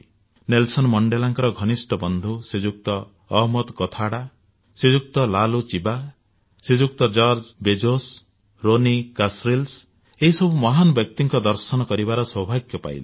Nelson ମଣ୍ଡେଲାଙ୍କ ଘନିଷ୍ଠ ବନ୍ଧୁ ଶ୍ରୀଯୁକ୍ତ ଅହମ୍ମଦ କଥାଡା ଶ୍ରୀଯୁକ୍ତ ଲାଲୁଚିବା ଶ୍ରୀଯୁକ୍ତ ଜର୍ଜ ବେଜୋସ ରୋନୀ କାସରିଲ୍ସ ଏହି ସବୁ ମହାନ ବ୍ୟକ୍ତିଙ୍କ ଦର୍ଶନ କରିବାର ସୌଭାଗ୍ୟ ପାଇଲି